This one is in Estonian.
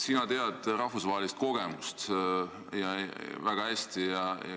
Sina tead rahvusvahelisi kogemusi väga hästi.